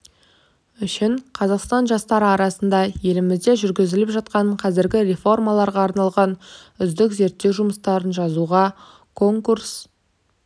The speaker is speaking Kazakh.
үшін қазақстан жастары арасында елімізде жүргізіліп жатқан қазіргі реформаларға арналған үздік зерттеу жұмыстарын жазуға конкурс